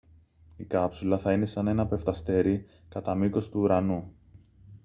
η κάψουλα θα είναι σαν ένα πεφταστέρι κατά μήκος του ουρανού